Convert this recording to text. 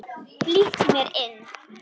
Flýtti mér inn.